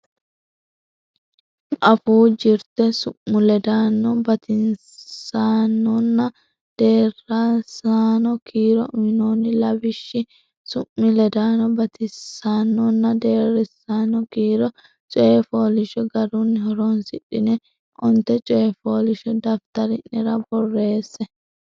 Afuu Jirte Su mi ledaano Batinyisaanonna Deerrisaano Kiiro uynoonni lawishshi Su mi ledaano batinyisaanonna deerrisaano kiiro coy fooliishsho garunni horonsidhine onte coy fooliishsho daftari nera borreesse.